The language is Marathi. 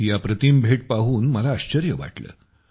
ही अप्रतिम भेट पाहून मला आश्चर्य वाटलं